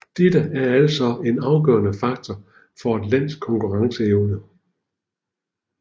Dette er altså en afgørende faktor for et lands konkurrenceevner